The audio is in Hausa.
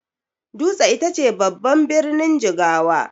Dutse ita ce babban birnin Jigawa.